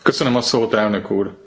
Köszönöm a szót Elnök úr!